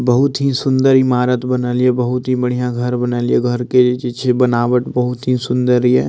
बहुत ही सुंदर इमारत बनल ये बहुत ही बढ़िया घर बना लियो घर के इ जे छे बनावट बहुत ही सुंदर ये।